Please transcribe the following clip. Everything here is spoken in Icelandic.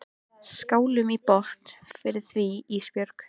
Skálum í botn fyrir því Ísbjörg.